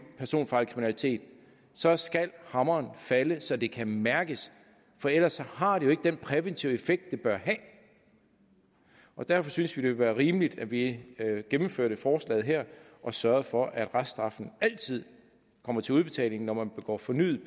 personfarlig kriminalitet så skal hammeren falde så det kan mærkes for ellers har det jo ikke den præventive effekt det bør have derfor synes vi det ville være rimeligt at vi gennemførte forslaget her og sørgede for at reststraffen altid kommer til udbetaling når man begår fornyet